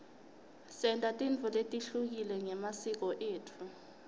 senta tintfo letehlukile ngemasiko etfu